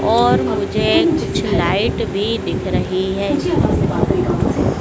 और मुझे कुछ लाइट भी दिख रही है।